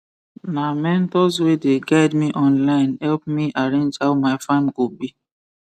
na mentors wey dey guide me online help me arrange how my farm go be